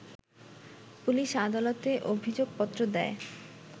police আদালতে অভিযোগপত্র দেয়